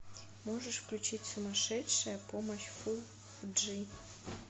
можешь включить сумасшедшая помощь фул джи